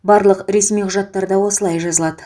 барлық ресми құжаттарда осылай жазылады